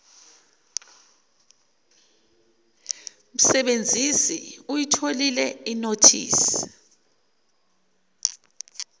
msebenzisi uyitholile inothisi